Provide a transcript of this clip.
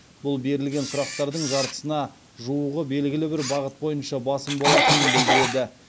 бұл берілген сұрақтардың жартысына жуығы белгілі бір бағыт бойынша басым болатынын білдіреді